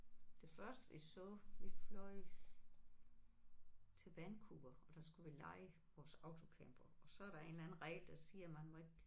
Det første vi så vi fløj til Vancouver og der skulle vi leje vores autocamper og så der en eller anden regel der siger man må ikke